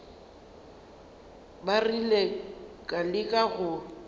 ba rile ka leka go